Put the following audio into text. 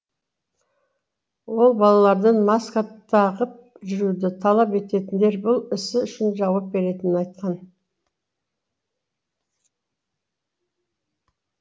ол балалардан маска тағып жүруді талап ететіндер бұл ісі үшін жауап беретінін айтқан